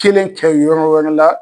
Kelen kɛ yɔrɔ wɛrɛ la